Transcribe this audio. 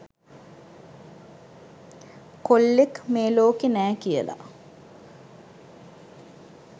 කොල්ලෙක් මේ ලෝකේ නෑ කියලා.